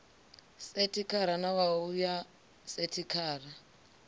sekhithara na wua ya sekhithara